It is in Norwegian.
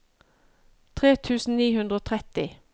tre tusen ni hundre og tretti